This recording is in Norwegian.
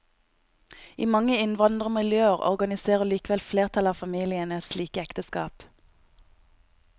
I mange innvandrermiljøer organiserer likevel flertallet av familiene slike ekteskap.